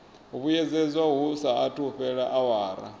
vhuyedzedzwa hu saathu fhela awara